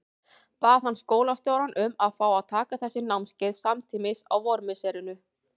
Bað hann skólastjórann um að fá að taka þessi námskeið samtímis á vormisserinu.